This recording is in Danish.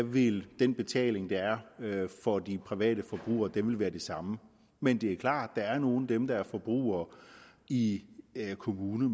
vil den betaling der er for de private forbrugere være det samme men det er klart at der er nogle af dem der er forbrugere i en kommune